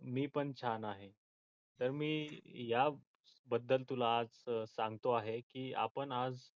मी पण छान आहे तर मी याबद्दल तुला आज सांगतो आहे की आपण आज